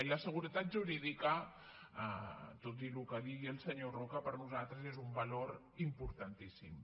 i la seguretat jurídica tot i el que digui el senyor roca per nosaltres és un valor importantíssim